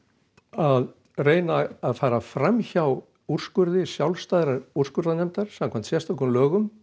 að reyna að fara fram hjá úrskurði sjálfstæðrar úrskurðarnefndar samkvæmt sérstökum lögum